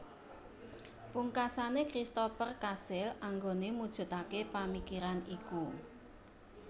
Pungkasane Christoper kasil anggone mujudake pamikiran iku